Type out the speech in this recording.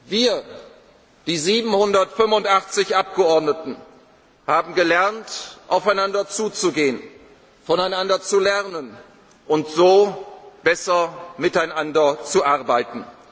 Wir, die 785 Abgeordneten, haben gelernt aufeinander zuzugehen, voneinander zu lernen und so besser miteinander zu